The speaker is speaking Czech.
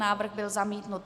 Návrh byl zamítnut.